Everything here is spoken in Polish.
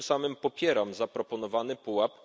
Tym samym popieram zaproponowany pułap